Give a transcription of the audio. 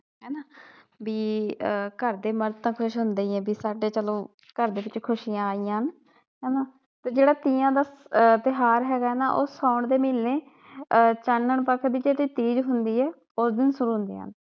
ਆਹ ਘਰਦੇ ਮਰਦ ਤਾ ਖੁਸ਼ ਹੁੰਦੇ ਈ ਏ ਬੀ ਸਾਡੇ ਚਲੋ ਘਰਦੇ ਵਿਚ ਖੁਸੀਆ ਆਈਆਂ ਹਨ। ਹੇਨਾ ਤੇ ਜਿਹੜਾ ਤੀਆਂ ਦਾ ਆਹ ਤਿਉਹਾਰ ਹੇਗਾ ਨਾ ਉਹ ਸਾਉਣ ਦੇ ਮਹੀਨੇ ਆਹ ਚਾਨਣ ਪੱਖ ਦੇ ਵਿਚ ਜਿਹੜੀ ਤੀਜ ਹੁੰਦੀ ਏ ਉਸ ਦਿਨ